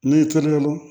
N'i terikɛ mun don